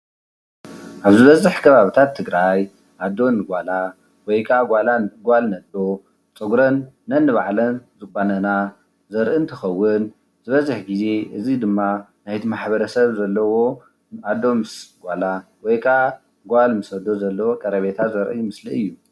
አብ ዝበዝሕ ከባቢታት ትግራይ አዶ ንጓላ ወይ ከአ ጓል ንአዶ ፀጉረን ነንባዕለን ዝቛነና ዘርኢ እንትኸውን ዝበዝሕ ግዜ እዚ ድማ ናይቲ ማሕበረሰብ ዘለዎ አዶ ምስ ጓላ ወይ ከዓ ጓል ምስ አዶ ዘለዎ ቀረቤታ ዘርኢ ምስሊ እዩ፡፡